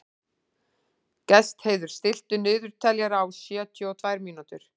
Gestheiður, stilltu niðurteljara á sjötíu og tvær mínútur.